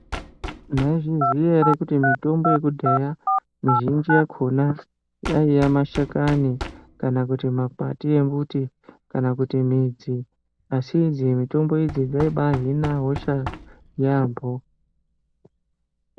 Mwaizviziya ere kuti mitombo yekudhaya mizhinji yakhona yaiya mashakani kana kuti makwati embuti, kana kuti midzi? Asi idzi mitombo idzi dzaibaahina hosha yaambo.